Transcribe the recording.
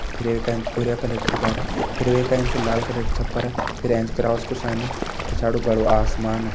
फिर ये का एंच भूरया कलर दीवारा फिर वे का एंच लाल कलर की छपर फिर एंच क्रॉस कु साइन पिछाड़ी बड़ु आसमान।